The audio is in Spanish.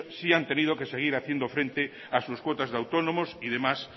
sí han tenido que seguir haciendo frente a sus cuotas de autónomos y demás